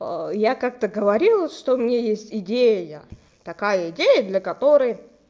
я как-то говорила что мне есть идея такая идея для которой